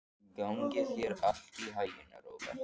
Gangi þér allt í haginn, Róberta.